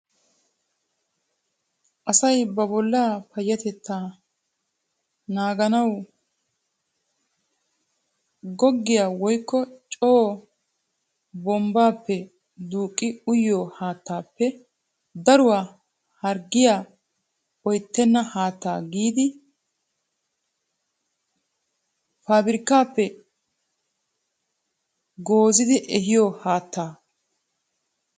Asay ba bollaa payatettaa nanganawu googgiyaa woykko coo bombbaappe duuqqi uyiyoo haattaappe daruwaa harggiyaa oyttena haattaa giidi paabirkkaappe goozzidi ehiyoo haattaa.